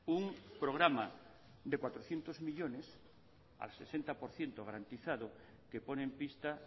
un programa de cuatrocientos millónes al sesenta por ciento garantizado que pone en pista